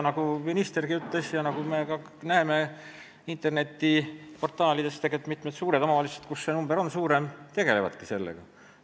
Nagu ütles minister ja nagu me näeme ka internetiportaalides, mitmed suured omavalitsused, kus see number on suurem, sellega tegelevadki.